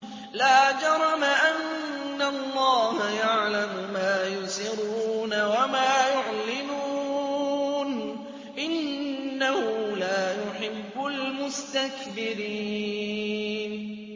لَا جَرَمَ أَنَّ اللَّهَ يَعْلَمُ مَا يُسِرُّونَ وَمَا يُعْلِنُونَ ۚ إِنَّهُ لَا يُحِبُّ الْمُسْتَكْبِرِينَ